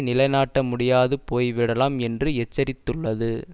நிலை நாட்ட முடியாது போய்விடலாம் என்று எச்சரித்துள்ளது